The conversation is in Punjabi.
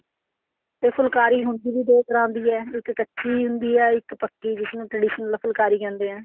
ਤੇ ਫੁਲਕਾਰੀ ਹੁਣ ਦੋ ਤਰ੍ਹਾਂ ਦੀ ਹੈ ਇੱਕ ਕੱਚੀ ਹੁੰਦੀ ਆ ਇੱਕ ਪੱਕੀ ਜਿਸ ਨੂੰ traditional ਫੁਲਕਾਰੀ ਕਹਿੰਦੇ ਆ